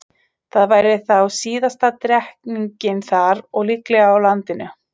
Það væri þá síðasta drekkingin þar og líklega á landinu.